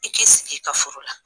I k'i sigi i ka furu la